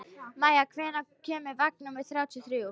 Maia, hvenær kemur vagn númer þrjátíu og þrjú?